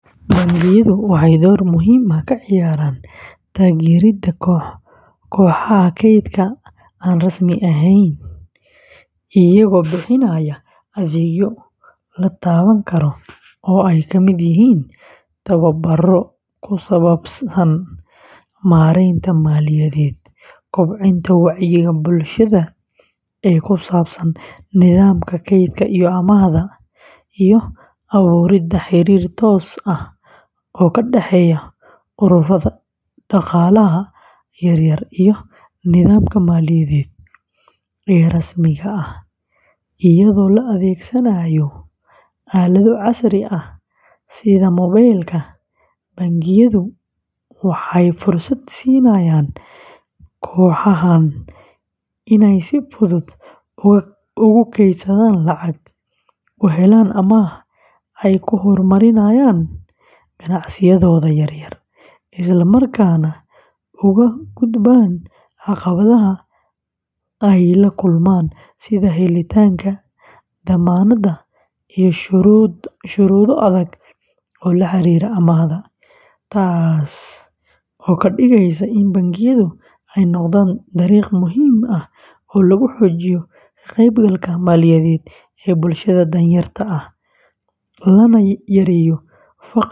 Bangiyadu waxay door muhiim ah ka ciyaaraan taageeridda kooxaha kaydka aan rasmi ahayn iyagoo bixinaya adeegyo la taaban karo oo ay ka mid yihiin tababarro ku saabsan maaraynta maaliyadeed, kobcinta wacyiga bulshada ee ku saabsan nidaamka kaydka iyo amaahda, iyo abuuridda xiriir toos ah oo ka dhexeeya ururrada dhaqaalaha yaryar iyo nidaamka maaliyadeed ee rasmiga ah; iyadoo la adeegsanayo aalado casri ah sida mobaylka, bangiyadu waxay fursad siinayaan kooxahan inay si fudud ugu kaydsadaan lacag, u helaan amaah ay ku horumariyaan ganacsiyadooda yaryar, isla markaana uga gudbaan caqabadaha ay la kulmaan sida helitaanka dammaanad iyo shuruudo adag oo la xiriira amaahda; taas oo ka dhigaysa in bangiyadu ay noqdaan dariiq muhiim ah oo lagu xoojiyo ka-qaybgalka maaliyadeed ee bulshada danyarta ah, lana yareeyo faqriga.